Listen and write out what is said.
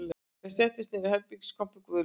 Þau settust niður í herbergiskompu Guðlaugs